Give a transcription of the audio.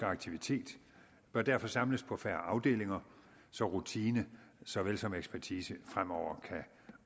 aktivitet bør derfor samles på færre afdelinger så rutine så vel som ekspertise fremover kan